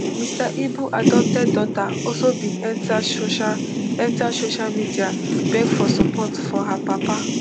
mr ibu adopted daughter also bin enta social enta social media beg for support for her papa